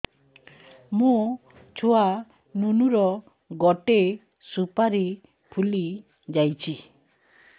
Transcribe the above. ମୋ ଛୁଆ ନୁନୁ ର ଗଟେ ସୁପାରୀ ଫୁଲି ଯାଇଛି